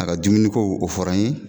A ka dumuniko o fɔra n ye